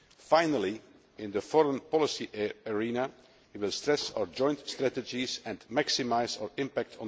Finally, in the foreign policy arena, we will stress our joint strategies and maximise our impact.